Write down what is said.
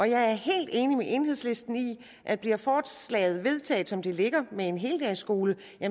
jeg er helt enig med enhedslisten i at bliver forslaget vedtaget som det ligger med en heldagsskole